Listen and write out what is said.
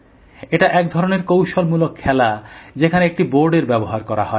এটা এক ধরনের কৌশলমূলক খেলা যেখানে একটি বোর্ডের ব্যবহার করা হয়